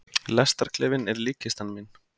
Lestarklefinn er líkkistan mín.